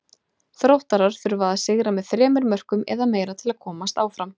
Þróttarar þurfa að sigra með þremur mörkum eða meira til að komast áfram.